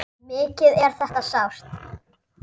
Mikið er þetta sárt.